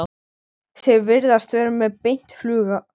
Þeir virðast vera með beint flug frá